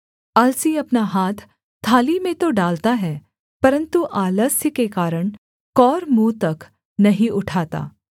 आलसी अपना हाथ थाली में तो डालता है परन्तु आलस्य के कारण कौर मुँह तक नहीं उठाता